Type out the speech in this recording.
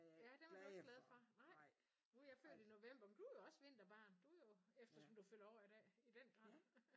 Ja dem er du ikke glade for? Nej nu er jeg født i november men du er jo også vinterbarn du jo eftersom du fylder år i dag i den grad